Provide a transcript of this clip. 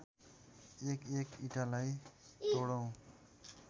एकएक इँटालाई तोडौँ